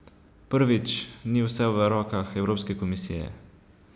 Prvič, ni vse v rokah evropske komisije.